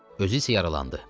Özü isə yaralandı.